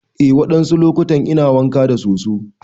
Eh wadansu lokutan ina wanka da soso.